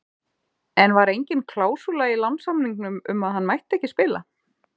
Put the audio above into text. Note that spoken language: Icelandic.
En var engin klásúla í lánssamningnum um að hann mætti ekki spila?